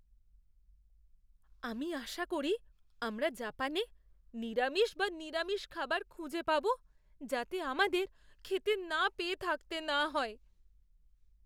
আমি আশা করি আমরা জাপানে নিরামিষ বা নিরামিষ খাবার খুঁজে পাব যাতে আমাদের খেতে না পেয়ে থাকতে না হয়।